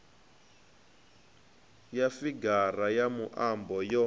ya figara ya muambo yo